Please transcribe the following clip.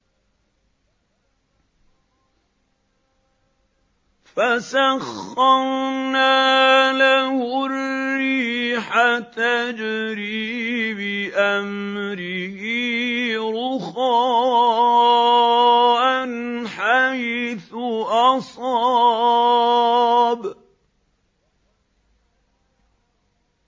فَسَخَّرْنَا لَهُ الرِّيحَ تَجْرِي بِأَمْرِهِ رُخَاءً حَيْثُ أَصَابَ